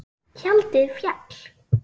Tjaldið féll.